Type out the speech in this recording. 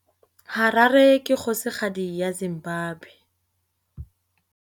Harare ke kgosigadi ya Zimbabwe.